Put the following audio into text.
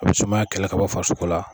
A be sumaya kɛlɛ ka bɔ farisoko la